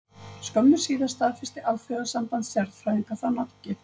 Skömmu síðar staðfesti Alþjóðasamband stjarnfræðinga þá nafngift.